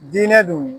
Diinɛ don